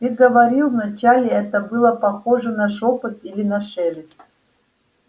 ты говорил вначале это было похоже на шёпот или на шелест